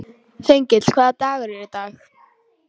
Þengill, hvaða dagur er í dag?